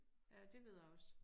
Ja det ved jeg også